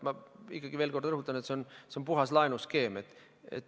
Ma ikkagi veel kord rõhutan, et see on puhas laenuskeem.